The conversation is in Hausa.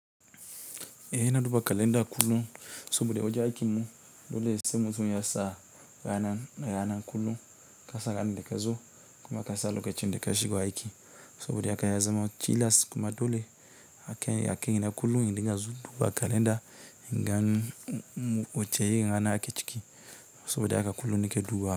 Eh, ina duba kalanda kullum saboda wajen aikin mu, dole sai mutum yasa rana kullum kasa ranar da kazo kuma ƙasa lokacin da kashigo aiki saboda haka yazamo tilas kuma dole akaina kullum indinga duba kalanda inga wace irin rana ake ciki soboda haka kulu nikeduba.